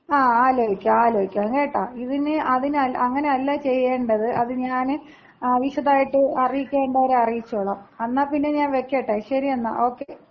ങ്ങാ, ആലോചിക്കാം ആലോചിക്കാം കേട്ടാ. ഇതിന് അതിന് അങ്ങനെയല്ല ചെയ്യേണ്ടത് അത് ഞാന് വിശദായിട്ട് അറിയിക്കേണ്ടവരെ അറിയിച്ചോളാം. എന്നാ പിന്നെ ഞാൻ വയ്ക്കട്ടെ. ശരി എന്നാ. ഓക്കേ.